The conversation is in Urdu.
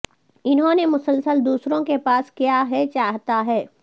انہوں نے مسلسل دوسروں کے پاس کیا ہے چاہتا ہے